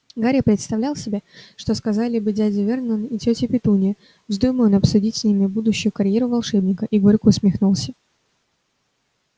гарри представлял себе что сказали бы дядя вернон и тётя петунья вздумай он обсудить с ними будущую карьеру волшебника и горько усмехнулся